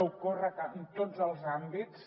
ocorre en tots els àmbits